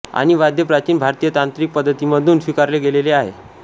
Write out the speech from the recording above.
आणि वाद्य प्राचीन भारतीय तांत्रिक पद्धतींमधून स्वीकारले गेले आहे